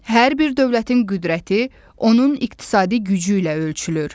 Hər bir dövlətin qüdrəti onun iqtisadi gücü ilə ölçülür.